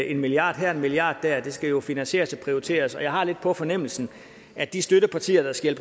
en milliard hér og en milliard dér skal jo finansieres og prioriteres og jeg har lidt på fornemmelsen at de støttepartier der skal